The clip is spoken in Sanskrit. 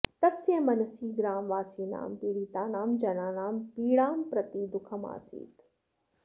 तस्य मनसि ग्रामवासिनां पीडितानां जनानां पीडां प्रति दुःखमासीत्